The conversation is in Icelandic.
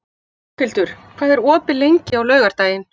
Borghildur, hvað er opið lengi á laugardaginn?